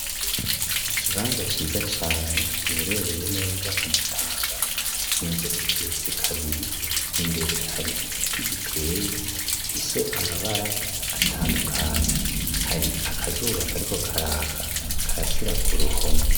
Ikibanza ciza cane giherereye neza ku Mutanga, inzu igeretse kabiri, imbere hari igiti giteye gifise amabara atandukanye, hari akazuba kariko karaka karasira ku ruhome.